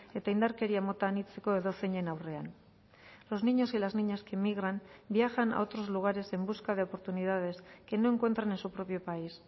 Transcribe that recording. eta indarkeria mota anitzeko edozeinen aurrean los niños y las niñas que migran viajan a otros lugares en busca de oportunidades que no encuentran en su propio país